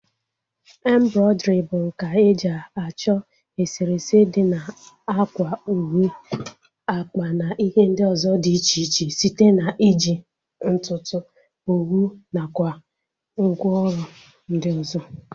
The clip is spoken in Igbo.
Embrọidrii bụ nkà eji achọ eserese dị na ákwà, uwe, akpa na ihe ndị ọzọ dị iche iche site na iji ntutu, owu nakwa ngwa ọrụ ndị ọzọ